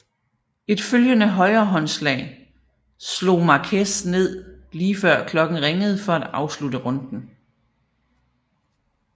Et følgende højrehåndslag slog Márquez ned lige før klokken ringede for at afslutte runden